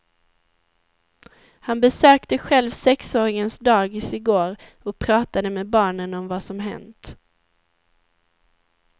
Han besökte själv sexåringens dagis i går och pratade med barnen om vad som hänt.